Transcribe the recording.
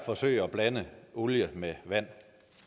forsøge at blande olie med vand